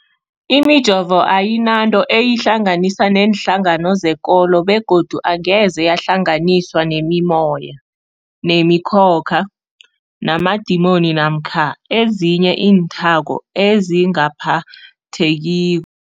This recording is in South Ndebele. Imijovo ayinanto eyihlanganisa neenhlangano zekolo begodu angeze yahlanganiswa nemimoya, nemi khokha, namadimoni namkha ezinye iinthako ezingaphatheki